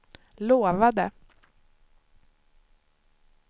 lovade